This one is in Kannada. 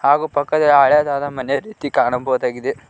ಹಾಗೂ ಪಕ್ಕದಲ್ಲಿ ಹಳೇದಾದ ಮನೆ ರೀತಿ ಕಾಣಬಹುದಾಗಿದೆ.